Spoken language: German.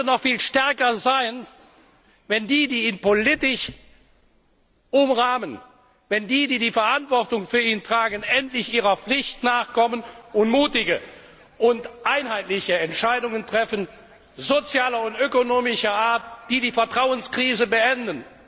Der Euro könnte noch viel stärker sein, wenn die, die ihn politisch umrahmen, wenn die, die die Verantwortung für ihn tragen, endlich ihrer Pflicht nachkommen und mutige und einheitliche Entscheidungen sozialer und ökonomischer Art treffen, die die Vertrauenskrise beenden.